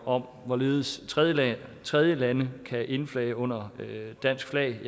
om hvorledes tredjelande tredjelande kan indflage under dansk flag